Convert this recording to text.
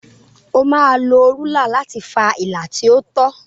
O máa lo rúlà láti fa ilà tí ó tọ.